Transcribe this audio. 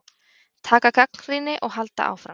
Taka gagnrýni og halda áfram.